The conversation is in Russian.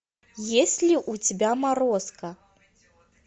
есть ли у тебя морозко